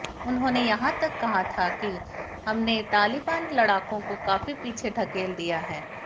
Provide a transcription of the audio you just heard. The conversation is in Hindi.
उन्होंने यहां तक कहा था कि हमने तालिबान लड़ाकों को काफी पीछे ढकेल दिया है